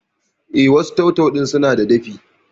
Eh, wasu tau-tau ɗin sunada dafi